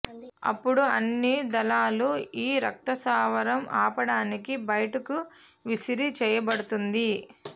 అప్పుడు అన్ని దళాలు ఈ రక్తస్రావం ఆపడానికి బయటకు విసిరి చేయబడుతుంది